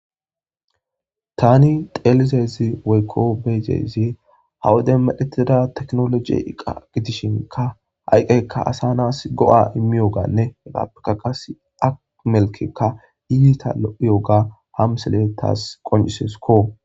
Tani teelize izi woykko be'iza izi ha wode meretida teknoloji iqa gidishinka ha iqqayikka asa nasi go'a immiyoganne hegappeka qassik melkekka ita lo'iyoga ha misile tas qonciseskko.